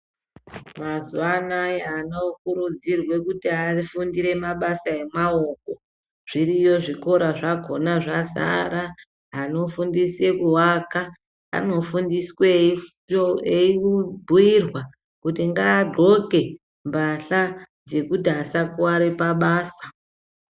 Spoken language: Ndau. Mazuwa anaya ana okurudzirwe kuti afundire mabasa emaoko, zviriyo zvikora zvakhona zvazara, anofundiswe kuaka, anofundiswa eibhuirwa kuti ngadxoke mbahla dzekuti asakuware pabasa.